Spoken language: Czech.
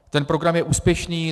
Ten program je úspěšný.